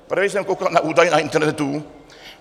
Právě jsem koukal na údaje na internetu.